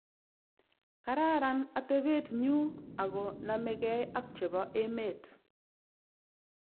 "Kararan atebetnyu ago namegei ak chebo emet